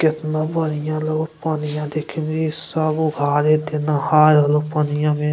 केतना बढ़िया लगो पनिया देखे में सब उघारे देह नहाय हलो पनिया में।